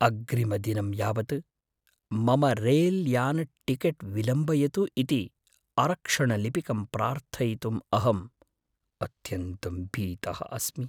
अग्रिमदिनं यावत् मम रैल्यानटिकेट् विलम्बयतु इति आरक्षणलिपिकं प्रार्थयितुं अहं अत्यन्तं भीतः अस्मि।